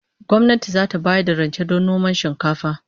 Gwamnati zata bayar da rance don noman shinkafa